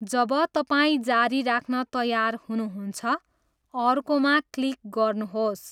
जब तपाईँ जारी राख्न तयार हुनुहुन्छ, 'अर्को' मा क्लिक गर्नुहोस्।